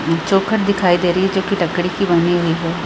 चौखट दिखाई दे रही है जो की लकड़ी की बनी हुई है।